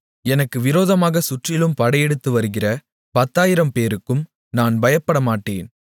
எனக்கு விரோதமாகச் சுற்றிலும் படையெடுத்துவருகிற பத்தாயிரம்பேருக்கும் நான் பயப்படமாட்டேன்